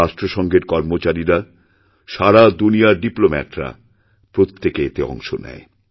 রাষ্ট্রসঙ্ঘের কর্মচারীরা সারা দুনিয়ারডিপ্লোম্যাটরা প্রত্যেকে এতে অংশ নেয়